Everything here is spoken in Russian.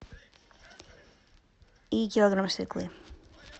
и килограмм свеклы